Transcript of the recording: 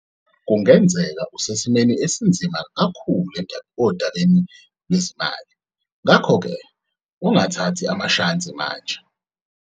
Kungenzeka usesimeni esinzima kakhulu odabeni lwezimalini, ngakho ke ungathathi amashansi manje.